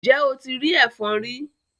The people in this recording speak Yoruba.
Ǹjẹ́ o ti rí ẹfọ̀n rí?